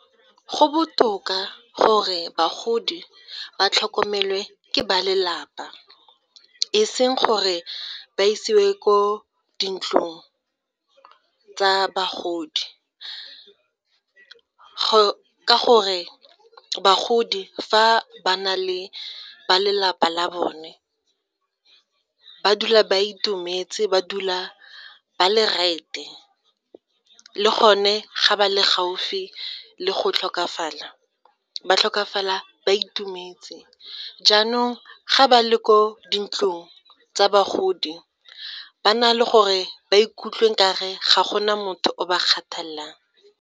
Go botoka gore bagodi ba tlhokomelwe ke ba lelapa e seng gore ba isiwe ko dintlong tsa bagodi ka gore bagodi fa ba na le ba lelapa la bone ba dula ba itumetse, ba dula ba le right-e, le gone ga ba le gaufi le go tlhokafala, ba tlhokafala ba itumetse, jaanong ga ba le ko dintlong tsa bagodi ba na le gore ba ikutlwe nka re ga go na motho o ba kgathalang.